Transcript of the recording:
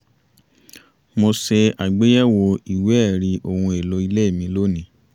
mo ṣe àgbéyẹ̀wò ìwé ẹ̀rí ohun èlò ilé mi lónìí